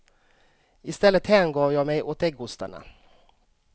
Istället hängav jag mig åt äggostarna.